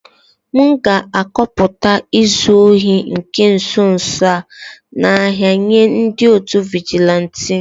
M ga-akọpụta izu ohi nke nso nso a n'ahia nye ndi otu vigilanti